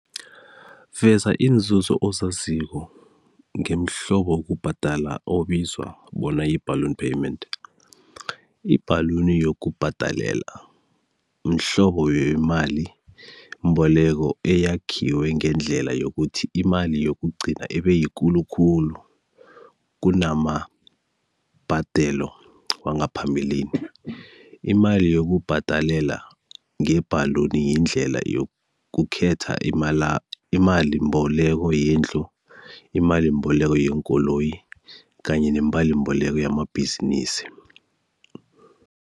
Veza iinzuzo ozaziko ngemihlobo wokubhadala obizwa bona yi-ballon payment. Ibhaluni yokubhadalela mhlobo wemalimboleko eyakhiwe ngendlela yokuthi imali yokugcina ibe yikulu khulu kunamabhadelo wangaphambilini. Imali yokubhadalela ngebhaluni yindlela yokukhetha , imalimboleko yendlu, imalimboleko yeenkoloyi kanye nemalimboleko yamabhizinisi.